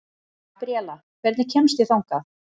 Gabriela, hvernig kemst ég þangað?